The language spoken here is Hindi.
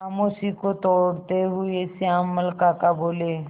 खामोशी को तोड़ते हुए श्यामल काका बोले